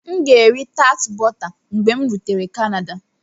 M ga-eri tart bọta mgbe m rutere Canada.